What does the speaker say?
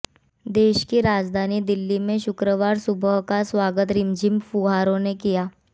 देश की राजधानी दिल्ली में शुक्रवार सुबह का स्वागत रिमझिम फुहारों ने किया